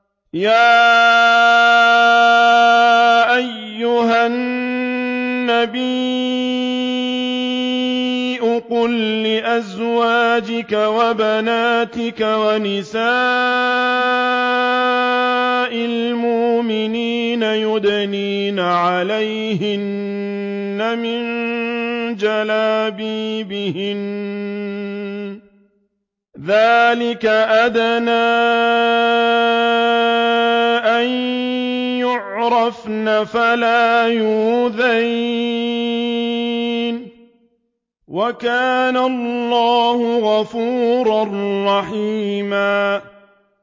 يَا أَيُّهَا النَّبِيُّ قُل لِّأَزْوَاجِكَ وَبَنَاتِكَ وَنِسَاءِ الْمُؤْمِنِينَ يُدْنِينَ عَلَيْهِنَّ مِن جَلَابِيبِهِنَّ ۚ ذَٰلِكَ أَدْنَىٰ أَن يُعْرَفْنَ فَلَا يُؤْذَيْنَ ۗ وَكَانَ اللَّهُ غَفُورًا رَّحِيمًا